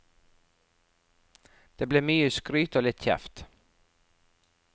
Det ble mye skryt og litt kjeft.